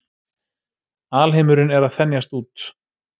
Alheimurinn er að þenjast út.